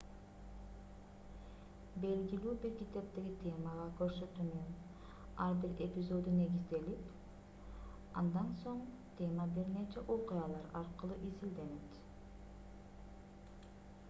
белгилүү бир китептеги темага көрсөтүүнүн ар бир эпизоду негизделип андан соң тема бир нече окуялар аркылуу изилденет